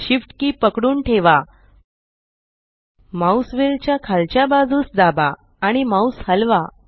shiftकी पकडून ठेवा mouse wheel च्या खालच्या बाजूस दाबा आणि माउस हलवा